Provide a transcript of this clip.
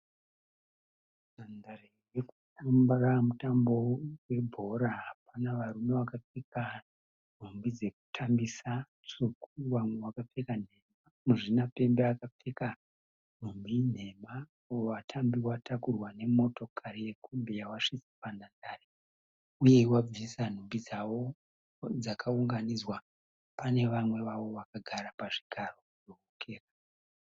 Nhandare yekutambira mutambo webhora. Pana varume vakapfeka nhumbi dzekutambisa tsvuku vamwe vakapfeka nhema. Muzvinapembe akapfeka nhumbi nhema. Vatambi vatakurwa nemotokari yekombi yavasvitsa panhandare uye vabvisa nhumbi dzavo dzakaunganidzwa pane vamwe vavo vakagara pazvigaro.